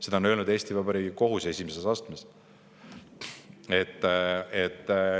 Seda on öelnud Eesti Vabariigi kohus esimeses astmes.